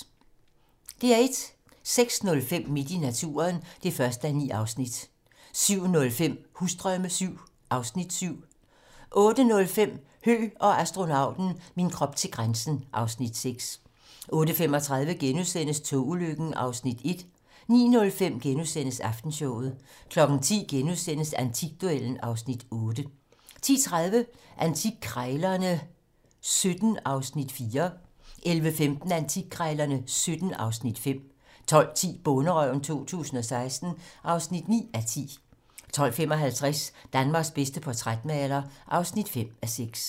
06:05: Midt i naturen (1:9) 07:05: Husdrømme VII (Afs. 7) 08:05: Høgh og astronauten - min krop til grænsen (Afs. 6) 08:35: Togulykken (Afs. 1)* 09:05: Aftenshowet * 10:00: Antikduellen (Afs. 8)* 10:30: Antikkrejlerne XVII (Afs. 4) 11:15: Antikkrejlerne XVII (Afs. 5) 12:10: Bonderøven 2016 (9:10) 12:55: Danmarks bedste portrætmaler (5:6)